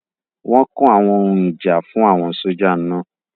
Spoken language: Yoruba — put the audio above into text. Wọ́n kó àwọn ohun ìjà fún àwọn sójà náà